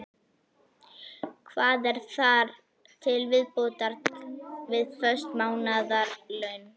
Hvað er þar til viðbótar við föst mánaðarlaun?